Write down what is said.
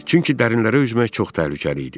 Çünki dərinlərə üzmək çox təhlükəli idi.